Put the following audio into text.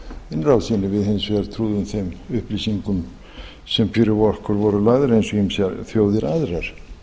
innrásinni við hins vegar trúðum þeim upplýsingum sem fyrir okkur voru lagðar eins og ýmsar þjóðir aðrar